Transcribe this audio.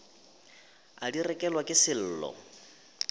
a di rekelwa ke sello